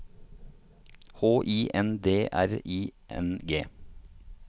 H I N D R I N G